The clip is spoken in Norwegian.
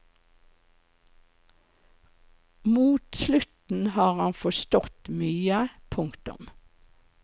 Mot slutten har han forstått mye. punktum